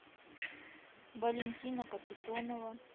валентина капитонова